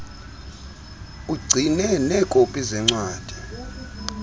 ugcine neekopi zeencwadi